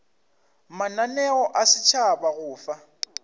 mananeo a setšhaba go fa